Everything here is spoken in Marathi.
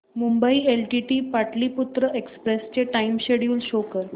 मुंबई एलटीटी पाटलिपुत्र एक्सप्रेस चे टाइम शेड्यूल शो कर